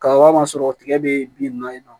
Kaba ma sɔrɔ tigɛ be bin nunnu na yen nɔ